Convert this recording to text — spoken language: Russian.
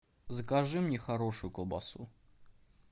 закажи мне хорошую колбасу